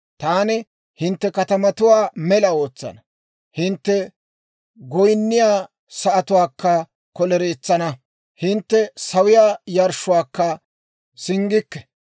Taani hintte katamatuwaa mela ootsana; hintte goynniyaa sa'atuwaakka kolereetsana; hintte sawiyaa yarshshuwaakka singgikke.